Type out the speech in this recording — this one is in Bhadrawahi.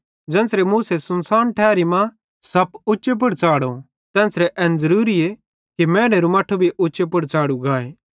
ज़ेन्च़रे मूसा सुनसाने मां परमेशरेरे लोकन बच़ानेरे लेइ पीतल सेइं बनोरो सप खंभे पुड़ उच्चे पुड़ च़ढ़ाव तेन्च़रे एन ज़रूरी आए कि अवं मैनेरू मट्ठू भी उच्चे पुड़ च़ाढ़ू गाए